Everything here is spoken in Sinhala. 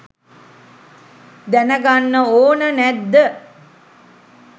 දැනගන්න ඕන නැද්ද?